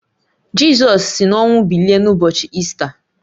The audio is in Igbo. Jizọs si n’ọnwụ bilie n’ụbọchị Ista